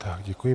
Tak, děkuji.